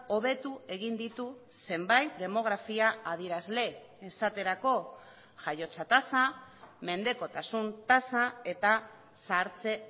hobetu egin ditu zenbait demografia adierazle esaterako jaiotza tasa mendekotasun tasa eta zahartze